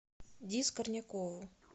ди скорнякову